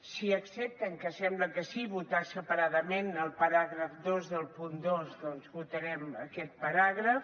si accepten que sembla que sí votar separadament el paràgraf dos del punt dos doncs votarem aquest paràgraf